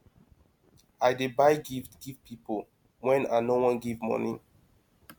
i dey buy gift give pipo wey i no wan give moni